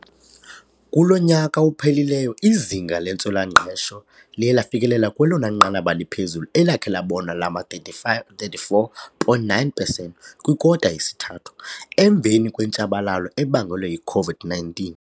Kulo nyaka uphelileyo, izinga lentswela-ngqesho liye lafikelela kwelona nqanaba liphezulu elakhe labonwa lama-34.9 percent kwikota yesithathu, emveni kwentshabalalo ebangelwe yi-COVID-19.